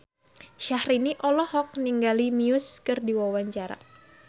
Syahrini olohok ningali Muse keur diwawancara